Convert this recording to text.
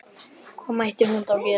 Hvað mátti hún þá gera?